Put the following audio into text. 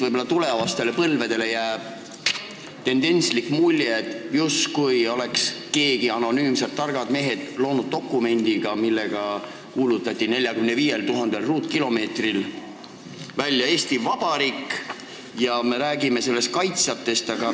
Võib-olla tulevastele põlvedele jääb tendentslik mulje, justkui oleks mõned targad mehed anonüümselt loonud dokumendi, millega kuulutati 45 000 ruutkilomeetril välja Eesti Vabariik ja me räägime selle kaitsjatest.